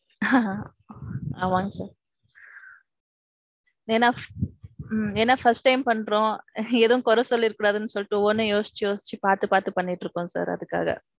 ஆமாங்க sir. ஏன்னா. என்னா first time பண்றோம். ஏதும் குறை சொல்லிற கூடாதுன்னு சொல்லிட்டு ஒவ்வென்னும் யோசிச்சு யோசிச்சு பாத்து பாத்து பண்ணிட்டு இருக்கோம் sir அதுக்காக.